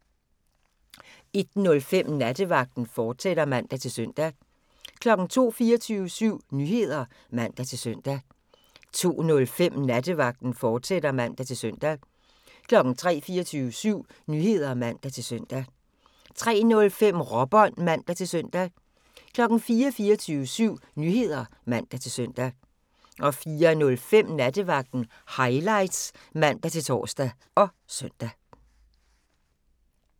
01:05: Nattevagten, fortsat (man-søn) 02:00: 24syv Nyheder (man-søn) 02:05: Nattevagten, fortsat (man-søn) 03:00: 24syv Nyheder (man-søn) 03:05: Råbånd (man-søn) 04:00: 24syv Nyheder (man-søn) 04:05: Nattevagten Highlights (man-tor og søn)